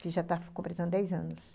Que já tá completando dez anos.